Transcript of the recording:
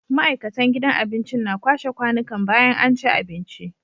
Ma'aikatan gidan abincin na kwashe kwanikan bayan anci abinci